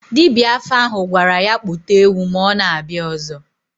Dibia afa ahụ gwara ya kpụta ewu ma ọ na-abịa ọzọ.